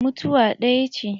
Mutuwa ɗaya ce.